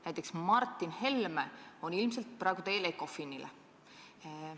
Näiteks on Martin Helme ilmselt praegu teel ECOFIN-ile.